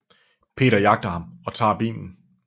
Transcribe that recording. Peter jagter ham og tager bilen